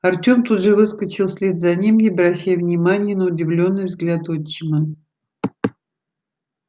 артем тут же выскочил вслед за ним не обращая внимания на удивлённый взгляд отчима